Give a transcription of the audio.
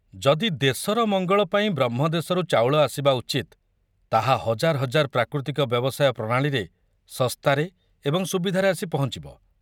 ଯଦି ଦେଶର ମଙ୍ଗଳ ପାଇଁ ବ୍ରହ୍ମଦେଶରୁ ଚାଉଳ ଆସିବା ଉଚିତ ତାହା ହଜାର ହଜାର ପ୍ରାକୃତିକ ବ୍ୟବସାୟ ପ୍ରଣାଳୀରେ ଶସ୍ତାରେ ଏବଂ ସୁବିଧାରେ ଆସି ପହଞ୍ଚିବ।